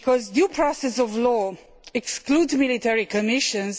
Due process of law excludes military commissions.